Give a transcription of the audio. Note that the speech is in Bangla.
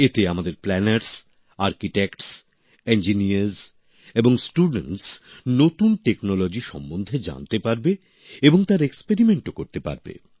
এতে আমাদের প্ল্যানার্স আর্কিটেক্টস ইঞ্জিনিয়ার এবং ছাত্রছাত্রীরা নতুন প্রযুক্তি সম্বন্ধে জানতে পারবে এবং তার পরীক্ষানিরীক্ষাও করতে পারবে